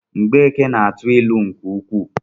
Mgbeke na-atụ ịlụ nke ukwuu